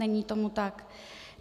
Není tomu tak.